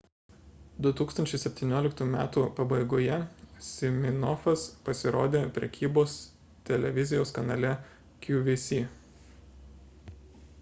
2017 m pabaigoje siminoffas pasirodė prekybos televizijos kanale qvc